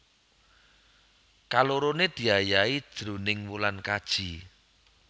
Kaloroné diayahi jroning wulan kaji